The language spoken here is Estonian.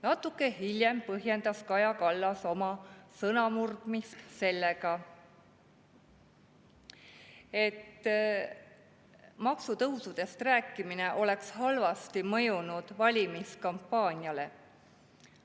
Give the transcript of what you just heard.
Natuke hiljem põhjendas Kaja Kallas oma sõnamurdmist sellega, et maksutõusudest rääkimine oleks halvasti mõjunud valimiskampaaniale.